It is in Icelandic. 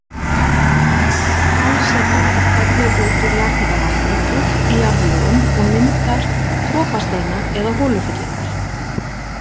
Kalsedón fellur út úr jarðhitavatni djúpt í jarðlögum og myndar dropasteina eða holufyllingar.